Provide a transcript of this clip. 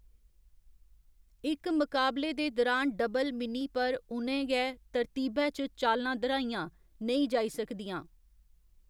इक मकाबले दे दुरान डबल मिनी पर उ'नें गै तरतीबै च चालां दर्‌‌हाइयां नेईं जाई सकदियां।